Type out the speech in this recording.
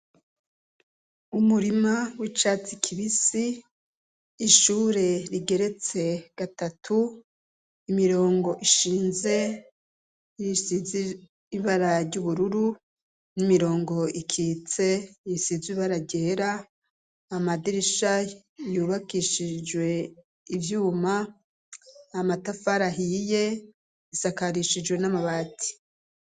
Umurima w'icatsi kibisi ishure rigeretse gatatu imirongo ishinze irisizi ibara ry'ubururu n'imirongo ikitse risizu ibararyera amadirisha yubakishijwe ivyuma amatafarahiye isakarishijwe n'amabati.